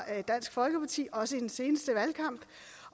dansk folkeparti også i den seneste valgkamp